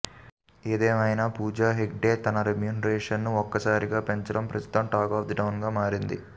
ఏదేమైనా పూజా హెగ్డే తన రెమ్యునరేషన్ను ఒక్కసారిగా పెంచేయడం ప్రస్తుతం టాక్ ఆఫ్ ది టౌనగా మారింది